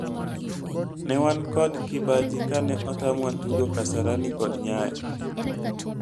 ne wan kod kibaji kane otamwa tugo kasarani kod Nyayo